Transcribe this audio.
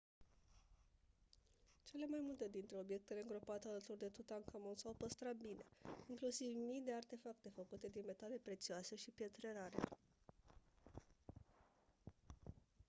cele mai multe dintre obiectele îngropate alături de tutankhamon s-au păstrat bine inclusiv mii de artefacte făcute din metale prețioase și pietre rare